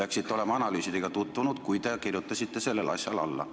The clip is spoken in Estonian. Usun, et te olite analüüsidega tutvunud, kui kirjutasite sellele asjale alla.